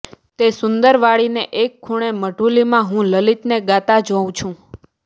તે સુંદર વાડીને એક ખૂણે મઢુલીમાં હું લલિતને ગાતા જોઉં છું